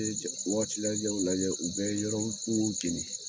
E jɔ wagati lajɛw lajɛ, u bɛ yɔrɔ kuŋo kɛlɛ